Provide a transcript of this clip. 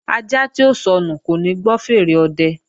Ajá tí ó sọnù kò ní gbọ́ fèèrè ọ̀dẹ